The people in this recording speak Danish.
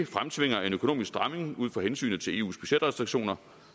fremtvinger en økonomisk stramning ud fra hensynet til eus budgetrestriktioner